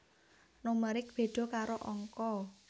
Numerik béda karo angka